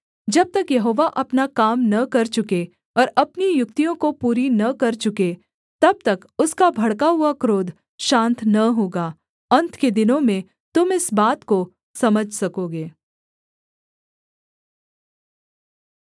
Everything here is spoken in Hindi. जब तक यहोवा अपना काम न कर चुके और अपनी युक्तियों को पूरी न कर चुके तब तक उसका भड़का हुआ क्रोध शान्त न होगा अन्त के दिनों में तुम इस बात को समझ सकोगे